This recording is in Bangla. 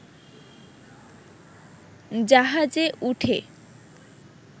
জাহাজে উঠে